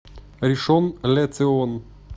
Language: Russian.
ришон ле цион